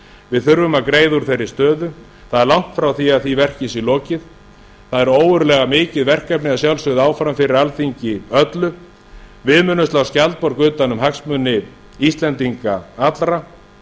við þurfum að greiða úr þeirri stöðu það er langt frá því að því verki sé lokið það er ógurlega mikið verkefni að sjálfsögðu áfram fyrir alþingi öllu við munum slá skjaldborg utan um hagsmuni íslendinga allra